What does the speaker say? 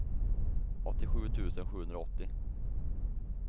åttiosju tusen sjuhundraåttio